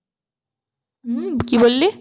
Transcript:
উম কি বললি?